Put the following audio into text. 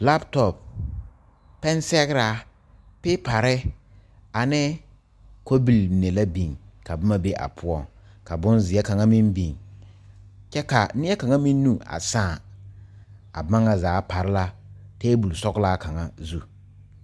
Labtɔp, pɛn sɛgraa, piipare, ane kobil mene la biŋ ka boma be a poʊŋ. Ka boŋ zie kanga meŋ biŋ. Kyɛ ka a neɛ kanga meŋ nu a saã. A boma na zaa pare la tabul sɔglaa kanga zu.